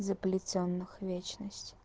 заплетённых вечность